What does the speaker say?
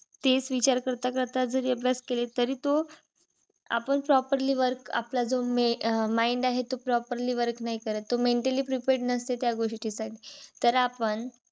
तेच विचार करता करता जरी अभ्यास केले. तरी तो आपण properly work आपला जो मे अं mind आहे. तो properly work नाही करत. तो mentally prepared नसते त्या गोष्टीसाठी, तर आपण